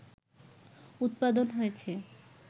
উৎপাদন হয়েছে